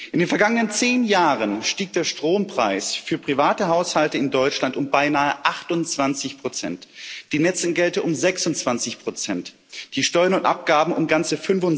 In den vergangenen zehn Jahren stieg der Strompreis für Privathaushalte in Deutschland um beinahe 28 die Netzentgelte um 26 die Steuern und Abgaben um ganze